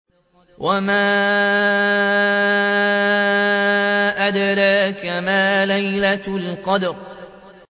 وَمَا أَدْرَاكَ مَا لَيْلَةُ الْقَدْرِ